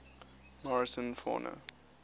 morrison fauna